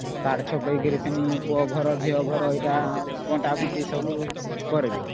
Card ଛପେଇକରି ଫେନି ପୁଅ ଘର ଝିଅ ଘର ଏଟା ଆଉ ବଣ୍ଟା ବାଣ୍ଟି ସବୁ କରବେ